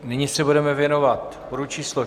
Nyní se budeme věnovat bodu číslo